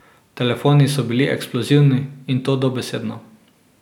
Telefoni so bili eksplozivni, in to dobesedno.